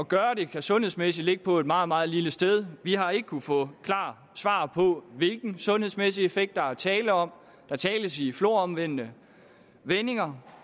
gøre det kan sundhedsmæssigt ligge på et meget meget lille sted vi har ikke kunnet få et klart svar på hvilken sundhedsmæssig effekt der er tale om der tales i floromvundne vendinger